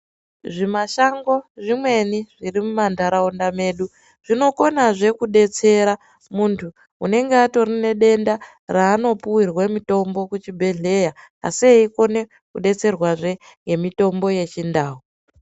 Zvimashango zvimweni zvirimumandharawunda medu. Zvinokona zve kudetsera muntu unenge atori nedenda ranopuwirwe mutombo kuchibhedhleya asi eyikone kudetsererwa zve ngemitombo yechindau.